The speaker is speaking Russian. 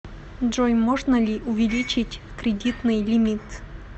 джой можно ли увеличить кредитный лимит